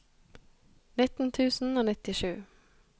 nitten tusen og nittisju